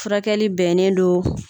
Furakɛli bɛnen don